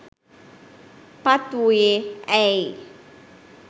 පත් වූයේ ඇයි?